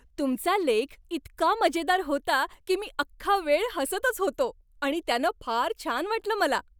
तुमचा लेख इतका मजेदार होता की मी अख्खा वेळ हसतच होतो आणि त्यानं फार छान वाटलं मला.